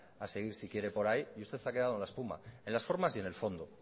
a seguir si quiere por ahí y usted se ha quedado en la espuma en las formas y en el fondo